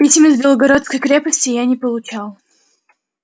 писем из белогорской крепости я не получал